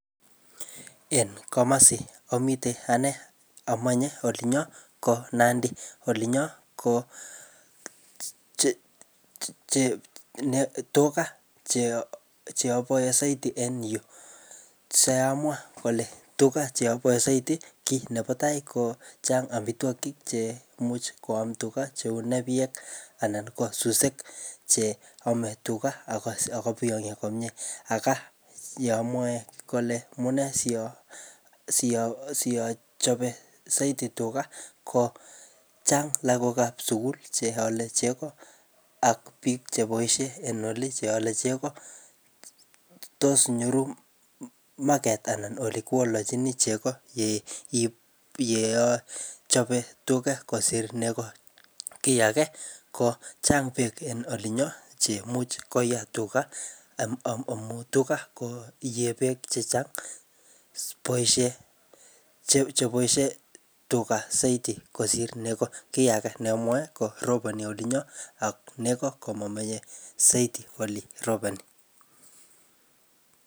En komosi amitei anee amenye olinyo ko nandi. Olinyo ko che che ne tuga che che abae zaidi en yuu. Siamwaa kole tuga che abae zaidi kiy nebo tai ko chang amitwogik chemuch koam tuga cheu nepyek anan ko suswek che ame tuga ako-akobiyongyo komyee. Aka yeamwa kole amunee siyo-siyo-siyochame saidi tuga, ko chang' lagok ap sukul che ale chego ak biik che boisie eng oli che ale chego. Tos nyoru market anan ole kiawolochin chego ye-ye achape tuga kosir nego. Kiy age, kochang beek en olinyo cheimuch koyee tuga, amu tuga koyee beek chechang. Boisie chep-cheboisie tuga zaidi kosir nego. Kiy age ne amwae ko roboni olinyo ako nego komamache zaidi ole roboni